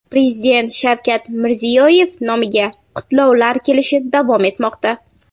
Prezident Shavkat Mirziyoyev nomiga qutlovlar kelishi davom etmoqda.